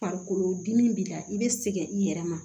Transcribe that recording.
Farikolodimi b'i la i bɛ sɛgɛn i yɛrɛ ma